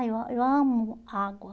Ai, eu ah eu amo água.